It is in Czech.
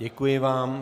Děkuji vám.